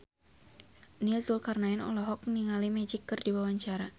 Nia Zulkarnaen olohok ningali Magic keur diwawancara